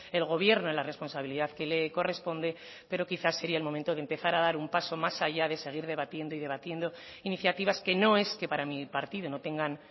el gobierno en la responsabilidad que le corresponde pero quizás sería el momento de empezar a dar un paso más allá de seguir debatiendo y debatiendo iniciativas que no es que para mi partido no tengan